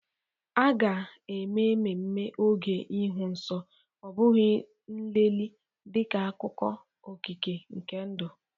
A ga-eme ememme oge ịhụ nsọ, ọ bụghị nlelị, dịka akụkụ okike nke ndụ.